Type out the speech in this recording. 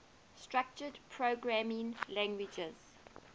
structured programming languages